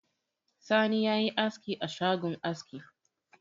Sani ya yi askioa shagon aski